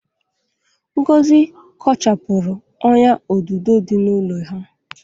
Ngozi kochapụrụ ọ́nyà odudo dị n'ụlọ ha.